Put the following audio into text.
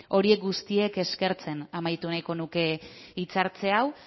horiek guztiek eskertzen amaitu nahiko nuke hitzartze hau